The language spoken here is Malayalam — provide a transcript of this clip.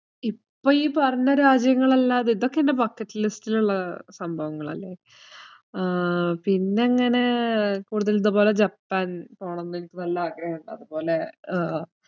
ഇപ്പോ ഈ പറഞ്ഞ രാജ്യങ്ങളല്ലാതെ ഇതൊക്ക എൻ്റെ bucket list ഇലുള്ള സംഭവങ്ങളല്ലേ? ആഹ് പിന്നങ്ങനെ കൂടുതൽ ഇതുപോലെ ജപ്പാൻ പോണന്ന് എനിക്ക് നല്ല ആഗ്രഹിണ്ട് അതുപോലെ ഏർ